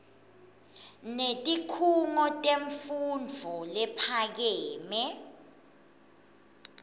netikhungo temfundvo lephakeme